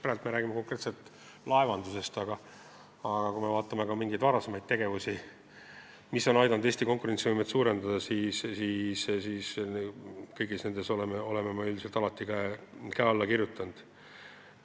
Praegu me räägime konkreetselt laevandusest, aga kui me vaatame ka mingeid varasemaid tegevusi, mis on aidanud Eesti konkurentsivõimet suurendada, siis ka kõigile nendele me oleme ilmselt käe alla pannud.